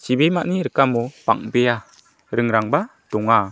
chibimani rikamo bang·bea ringrangba donga.